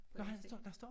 På den sten